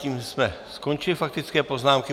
Tím jsme skončili faktické poznámky.